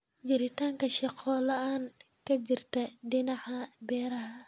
Jiritaanka shaqo la'aan ka jirta dhinaca beeraha.